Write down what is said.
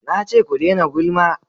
Na ce ku dena gulma!